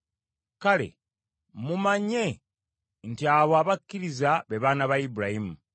Kale mumanye nti abo abakkiriza be baana ba Ibulayimu.